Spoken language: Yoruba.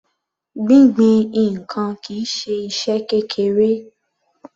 Gbingbin ǹkan kìí ṣe iṣẹ́ kékeré.